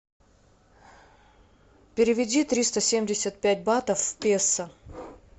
переведи триста семьдесят пять батов в песо